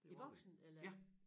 I Boxen eller